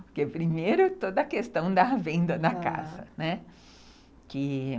Porque, primeiro, toda a questão da venda da casa, né, que